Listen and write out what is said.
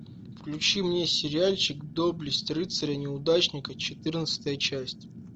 включи мне сериальчик доблесть рыцаря неудачника четырнадцатая часть